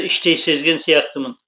іштей сезген сияқтымын